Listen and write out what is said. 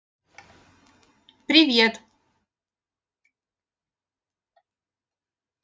привет